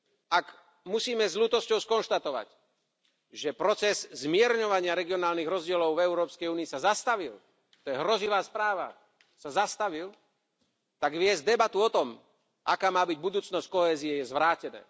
Ak musíme s ľútosťou skonštatovať, že proces zmierňovania regionálnych rozdielov v Európskej únii sa zastavil, to je hrozivá správa, že sa zastavil, tak viesť debatu o tom, aká má byť budúcnosť kohézie, je zvrátené.